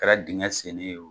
kɛra dinŋɛ senni ye o.